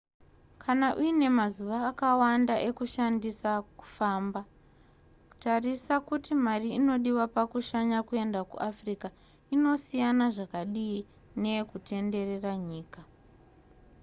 kana uine mazuva akawanda ekushandisa kufamba tarisa kuti mari inodiwa pakushanya kuenda kuafrica inosiyana zvakadii neyekutenderera nyika